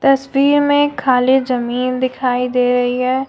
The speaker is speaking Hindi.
तस्वीर में खाली जमीन दिखाई दे रही है।